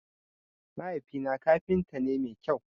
Mahaifi na kafinta ne mai kyau.